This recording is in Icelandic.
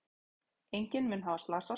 Enginn mun hafa slasast.